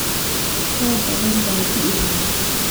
Roob badan baa dii rabaa